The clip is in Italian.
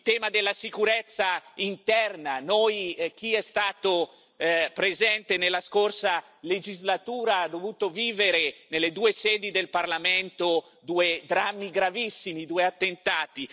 Il tema della sicurezza interna chi è stato presente nella scorsa legislatura ha dovuto vivere nelle due sedi del Parlamento due gravissimi attentati.